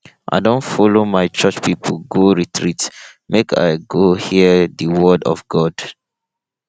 i don folo my church pipo go retreat make i go hear di word of god